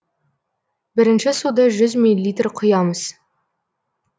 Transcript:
бірінші суды жүз милилитр құямыз